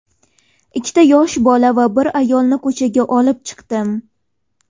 Ikkita yosh bola va bir ayolni ko‘chaga olib chiqdim.